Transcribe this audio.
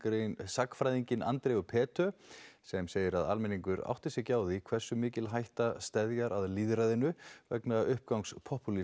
sagnfræðinginn Andreu sem segir að almenningur átti sig ekki á því hversu mikil hætta steðjar að lýðræðinu vegna uppgangs